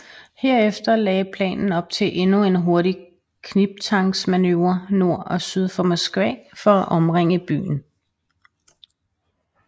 Herefter lagde planen op til endnu en hurtig knibtangsmanøvre nord og syd for Moskva for at omringe byen